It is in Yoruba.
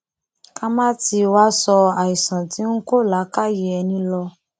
ká má tì í wàá sọ àìsàn tí ń kó làákàyè ẹni lọ